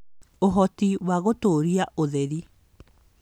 Ũhoti wa gũtũũria ũtheri